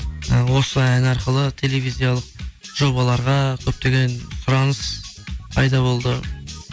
ы осы ән арқылы телевизиялық жобаларға көптеген сұраныс пайда болды